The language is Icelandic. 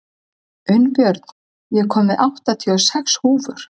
Unnbjörn, ég kom með áttatíu og sex húfur!